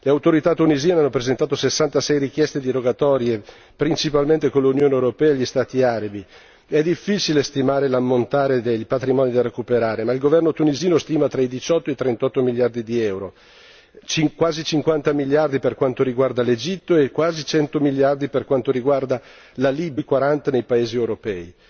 Le autorità tunisine hanno presentato 66 richieste di rogatorie principalmente con l'Unione europea e gli Stati arabi è difficile stimare l'ammontare dei patrimoni da recuperare, ma il governo tunisino stima tra i 18 e i 38 miliardi di euro, quasi 50 miliardi per quanto riguarda l'Egitto e quasi 100 miliardi per quanto riguarda la Libia, di cui 40 nei paesi europei.